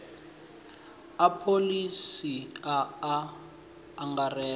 a pholisi a a angaredza